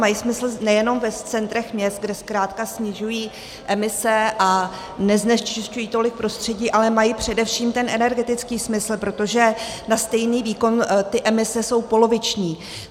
Mají smysl nejenom v centrech měst, kde zkrátka snižují emise a neznečisťují tolik prostředí, ale mají především ten energetický smysl, protože na stejný výkon ty emise jsou poloviční.